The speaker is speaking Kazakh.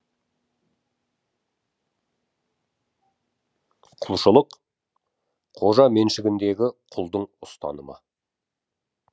құлшылық қожа меншігіндегі құлдың ұстанымы